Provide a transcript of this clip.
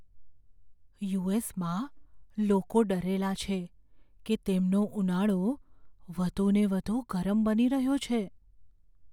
યુ.એસ.માં લોકો ડરેલા છે કે તેમનો ઉનાળો વધુને વધુ ગરમ બની રહ્યો છે.